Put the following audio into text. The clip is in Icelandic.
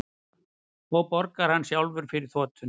Og borgar hann sjálfur fyrir þotuna